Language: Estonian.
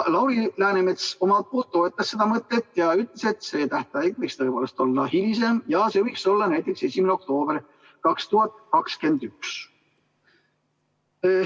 Lauri Läänemets toetas seda mõtet ja ütles, et see tähtaeg võiks tõepoolest olla hilisem, see võiks olla näiteks 1. oktoober 2021.